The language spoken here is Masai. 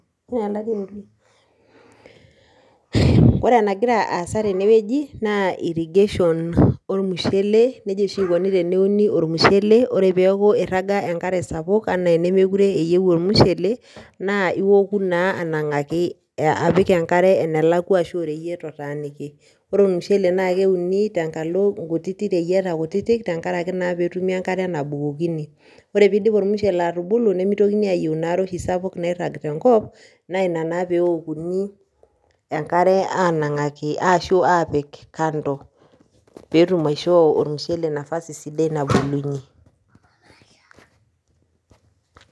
Ore enagira aasa tenewoji naa irrigation olmushele nejia oshi ikoni teneuni olmushele ore peeku iraga enkere sapuk enaa enemekure eiu olmushele naa ioku naa anankaki apik enkare enelakua ashu oreyiet otaaniki. Ore olmushele naa keuni tenkalo inkutiti reyieta kutiti tenkaraki naa petumi enkare nabukokini. Ore pee iidip olmushele atubulu nimitokini oshi aayiu ina are sapuk oshi nairag tenkop naa ina naa peokuni enkare anankaki ashu aapik kando, peetum aishoo olmushele nafasi sidai nabulunyi.